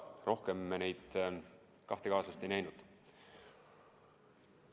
Rohkem me neid kahte kaaslast ei näinud.